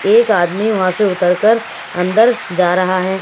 एक आदमी वहां से उतरकर अंदर जा रहा है।